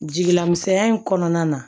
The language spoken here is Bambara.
Jigilamisɛnya in kɔnɔna na